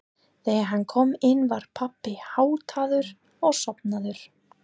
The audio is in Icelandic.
Þegar hann kom inn var pabbi háttaður og sofnaður.